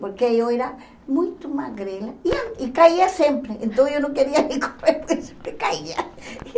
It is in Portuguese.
Porque eu era muito magrela e a e caía sempre, então eu não queria correr, porque sempre caía.